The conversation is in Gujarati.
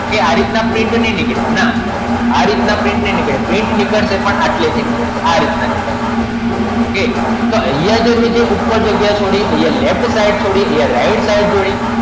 okay આવી રીતના print નય નિકડે ના આ રીત ના print નય નિકડે print નિકડસે પણ આટલે થી નિકડસે આ રીતે નિકડસે okay તો આયા જે ઉપર જાગીયા છોડી તે આયા left side છોડી આયા right side જોઈ